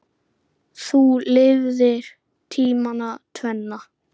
Þú lifðir tímana tvenna.